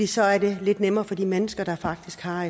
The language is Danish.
så er det lidt nemmere for de mennesker der faktisk har